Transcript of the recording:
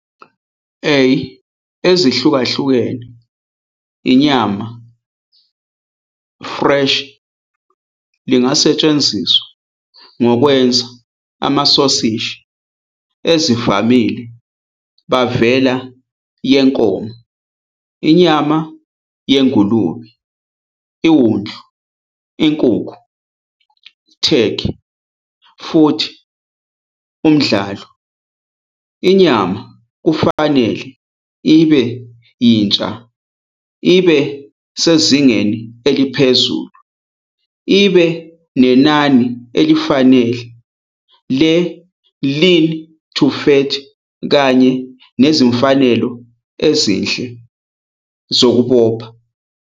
A ezihlukahlukene inyama fresh lingasetshenziswa ngokwenza amasosishi ezivamile bavela yenkomo, inyama yengulube, iwundlu, inkukhu, Turkey, futhi umdlalo. Inyama kufanele ibe yintsha, isezingeni eliphezulu, ibe nenani elifanele le-lean-to-fat kanye nezimfanelo ezinhle zokubopha.